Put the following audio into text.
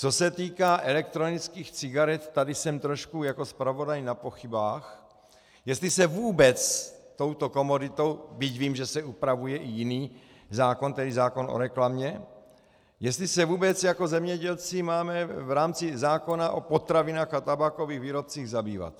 Co se týká elektronických cigaret, tady jsem trošku jako zpravodaj na pochybách, jestli se vůbec touto komoditou, byť vím, že se upravuje i jiný zákon, tedy zákon o reklamě, jestli se vůbec jako zemědělci máme v rámci zákona o potravinách a tabákových výrobcích zabývat.